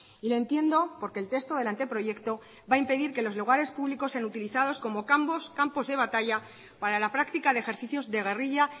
y lo entiendo porque el texto del anteproyecto va a impedir que los lugares públicos sean utilizados como campos de batalla para la práctica de ejercicios de guerrilla